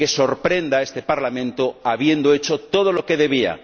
Que sorprenda a este Parlamento habiendo hecho todo lo que debía.